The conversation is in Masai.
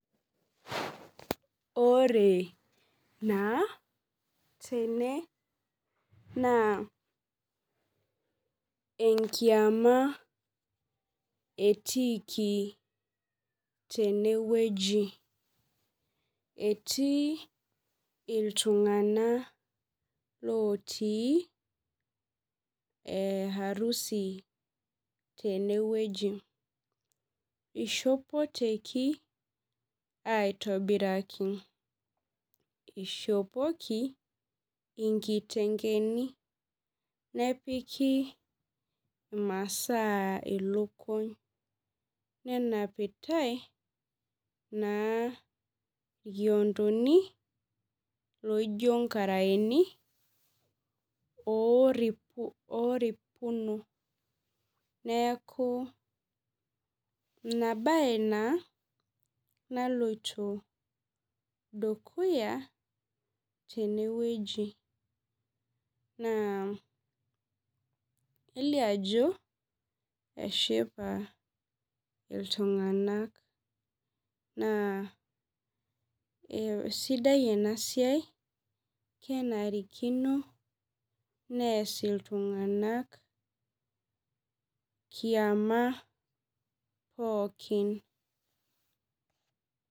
Ore naa tene, naa enkiama etiiki tenewueji. Etii iltung'anak lotii harusi tenewueji. Ishopoteki aitobiraki. Ishopoki, inkitengeni, nepiki imasaa ilukuny. Nenapitai, naa ikiontoni, loijo nkaraeni, oripuno. Neeku inabae naa naloito dukuya tenewueji. Naa, kelio ajo, eshipa iltung'anak naa sidai enasiai, kenarikino nees iltung'anak kiama pookin.